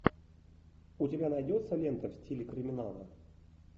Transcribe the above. у тебя найдется лента в стиле криминала